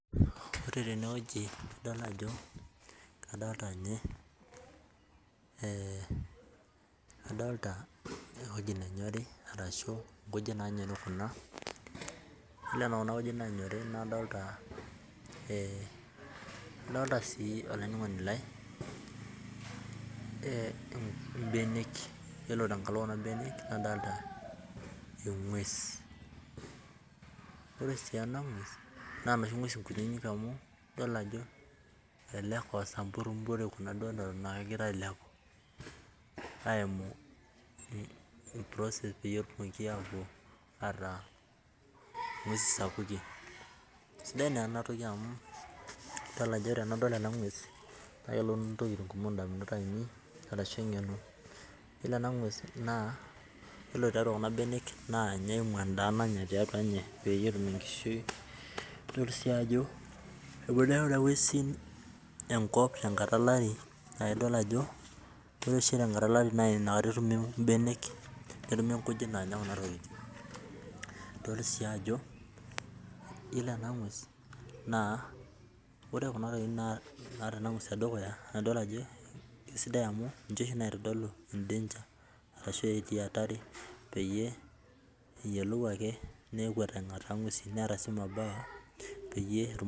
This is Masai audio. Ore tenewueji nadol ajo kadolta nye, adolta ewueji nenyori arashu nkujit nanyori kuna, yiolo tokuna kujit nanyori kadolta, kadolta si olainining'oni lai ibenek. Yiolo tenkalo kuna benek nadolta eng'ues. Ore si ena ng'ues, naa noshi ng'ues kuninik amu yiolo ajo elelek ah osamburimburi kuna duo neton akegira ailepu, aimu i process peyie etumoki apuo ataa ing'uesi sapukin. Sidai naa enatoki amu idol ajo tenadol ena ng'ues na kelotu intokiting kumok indamunot ainei, arashu eng'eno. Yiolo ena ng'ues naa, yiolo tiatua kuna benek naa nye eimu endaa nanya tiatua nye, peyie etum enkishui, nidol si ajo eponu ake kuna ng'uesin enkop tenkata alari, ah idol ajo, ore oshi tenkata olari naa inakata etumi ibenek, netimi nkujit naanya kuna tokiting. Nidol si ajo, yiolo ena ng'ues, naa ore kuna tokiting naata ena ng'ues tedukuya, na idol ajo kesidai amu ninche oshi naitodolu e danger, arashu etii atari peyie eyiolou ake nekuet aing'ataa ng'uesin, neeta si mabawa, peyie